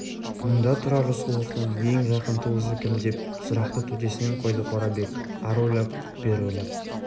мұнда тұрар рысқұловтың ең жақын туысы кім деп сұрақты төтесінен қойды қорабек ары ойлап бері ойлап